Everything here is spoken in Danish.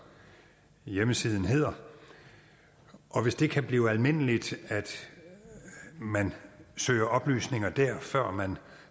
hjemmesiden hedder og hvis det kan blive almindeligt at man søger oplysninger der før man